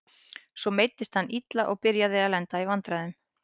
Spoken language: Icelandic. Svo meiddist hann illa og byrjaði að lenda í vandræðum.